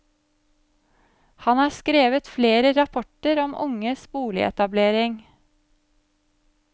Han har skrevet flere rapporter om unges boligetablering.